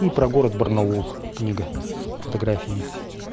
и про город барнаул книга с фотографиями